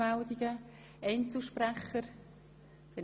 Wird das Wort von Einzelsprechern gewünscht?